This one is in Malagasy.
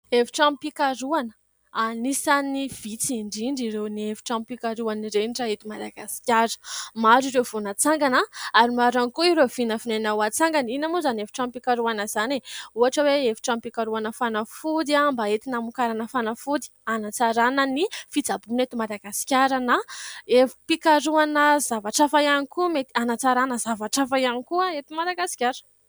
Efitranom-pikarohana anisany vitsy indrindra ireo ny efitram-pikaroha ireny raha eto Madagasikara. Maro ireo vao natsangana, ary maro ihany koa ireo vinavinaina hoatsangana. Inona moa izany evitranom-pikarohana izany ? Ohatra hoe efitranom-pikarohana fanafody mba entina hamokarana fanafody, hanatsarana ny fitsaboana eto Madagasikara na, efim-pikaroana zavatra hafa ihany koa mety hanatsarana zavatra hafa ihany koa eto Madagasikara.